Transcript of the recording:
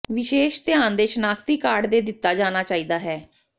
ਵਿਸ਼ੇਸ਼ ਧਿਆਨ ਦੇ ਸ਼ਨਾਖਤੀ ਕਾਰਡ ਦੇ ਦਿੱਤਾ ਜਾਣਾ ਚਾਹੀਦਾ ਹੈ